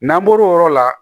N'an bɔr'o yɔrɔ la